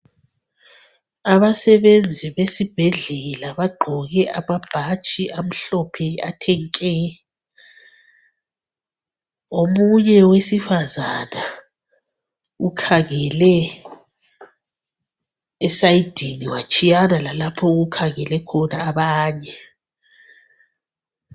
Abasebenzi besibhedlela bagqoke amabhatshi amhlophe athe nke. Omunye wesifazana ukhangele esayidini watshiyana lalapha okukhangele khona abanye.